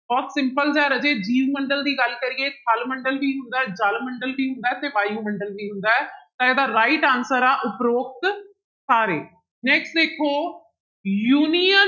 ਬਹੁਤ simple ਜਿਹਾ ਰਾਜੇ ਜੀਵ ਮੰਡਲ ਦੀ ਗੱਲ ਕਰੀਏ ਥਲ ਮੰਡਲ ਵੀ ਹੁੰਦਾ ਹੈ, ਜਲ ਮੰਡਲ ਵੀ ਹੁੰਦਾ ਹੈ ਤੇ ਵਾਯੂਮੰਡਲ ਵੀ ਹੁੰਦਾ ਹੈ ਤਾਂ ਇਹਦਾ right answer ਆ ਉਪਰੋਕਤ ਸਾਰੇ next ਦੇਖੋ union